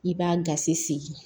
I b'a gasi sigi